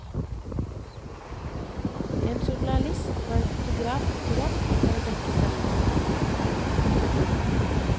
En journalist og en fotograf dukker opp, for å dekke sendingen.